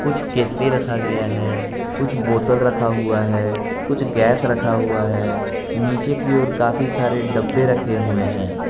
कुछ केतली रखा गया है कुछ बोतल रखा हुआ है कुछ गैस रखा हुआ है नीचे की ओर काफी सारे डब्बे रखे हुए है।